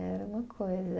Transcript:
Era uma coisa.